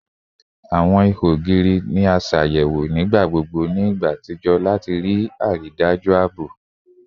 Awọn iho ogiri ni a ṣayẹwo nigbagbogbo ni igba atijọ lati rii daju aabo